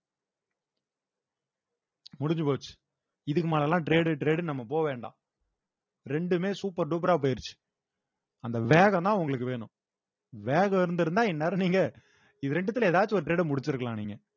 முடிஞ்சு போச்சு இதுக்கு மேல எல்லாம் trade trade நம்ம போ வேண்டாம் ரெண்டுமே super டூப்பரா போயிருச்சு அந்த வேகம் தான் உங்களுக்கு வேணும் வேகம் இருந்திருந்தா இந்நேரம் நீங்க இது ரெண்டுத்துல ஏதாச்சும் ஒரு trade அ முடிச்சிருக்கலாம் நீங்க